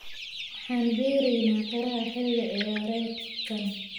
waxaan beereynaa qaraha xilli ciyaareedkan